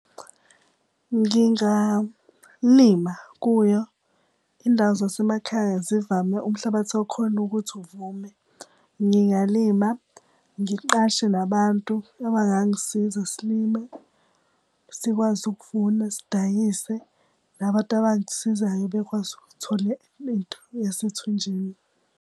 Ngingalima kuyo, indawo zasemakhaya zivame umhlabathi wakhona ukuthi uvume. Ngingalima, ngiqashe nabantu abangangisiza silime, sikwazi ukuvuna, sidayise. Nabantu abangisizayo bekwazi ukuthole into yasethunjini.